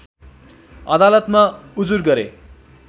अदालतमा उजुर गरे